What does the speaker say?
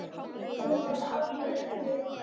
Guð er alvitur